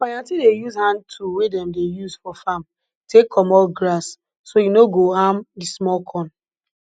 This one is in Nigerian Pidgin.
my aunty dey use hand tool wey dem dey use for farm take commot grass so e no go harm di small corn